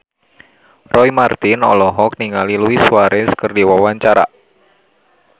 Roy Marten olohok ningali Luis Suarez keur diwawancara